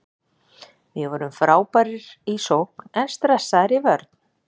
Við vorum frábærir í sókn en stressaðir í vörn.